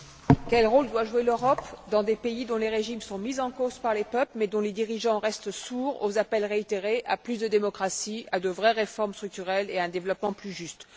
Monsieur le Président, quel rôle doit jouer l'Europe dans des pays dont les régimes sont mis en cause par les peuples, mais dont les dirigeants restent sourds aux appels réitérés à plus de démocratie, à de vraies réformes structurelles et à un développement plus juste?